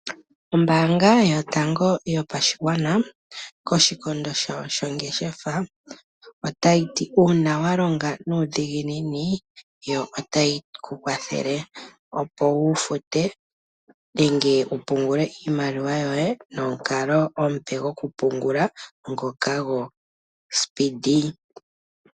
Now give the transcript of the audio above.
Ombaanga yotango yopashigwana koshikondo shawo shongeshefa otayi ti uuna wa longa nuudhiginini yo otayi ku kwathele opo wu fute nenge wu pungule iimaliwa yoye nomukalo omupe gwokupungula ngoka gwo Speedee.